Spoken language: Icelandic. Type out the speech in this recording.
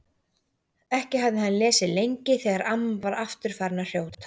Ekki hafði hann lesið lengi þegar amma var aftur farin að hrjóta.